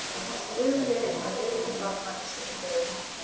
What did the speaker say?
Stuðli að öryggi barna í sundlaugum